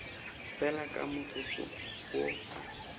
fela ka motsotso wo a